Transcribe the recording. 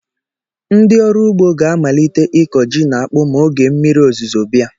Ndị ọrụ ugbo ga-amalite ịkọ ji na akpụ ma oge mmiri ozuzo bịa.